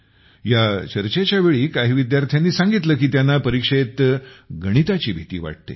ह्या चर्चेच्या वेळी काही विद्यार्थ्यांनी सांगितले की त्यांना परीक्षेत गणिताची भीती वाटते